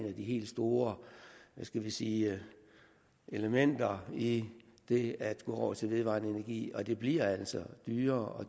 af de helt store skal vi sige elementer i det at gå over til vedvarende energi og det bliver altså dyrere